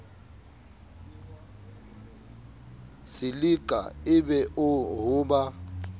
silika e be ho ba